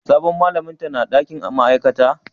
Sabon malamin ta na dakin ma'aikata?